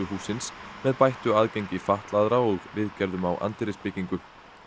hússins með bættu aðgengi fatlaðra og viðgerðum á anddyrisbyggingu